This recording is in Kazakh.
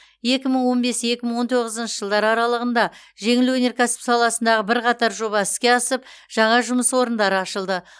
екі мың он бес екі мың он тоғызыншы жылдар аралығында жеңіл өнеркәсіп саласындағы бірқатар жоба іске асып жаңа жұмыс орындары ашылды